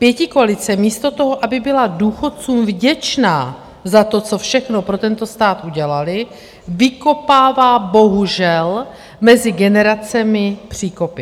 Pětikoalice místo toho, aby byla důchodcům vděčná za to, co všechno pro tento stát udělali, vykopává bohužel mezi generacemi příkopy.